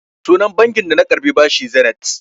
Sunan banki da na karɓi bashi Zenith.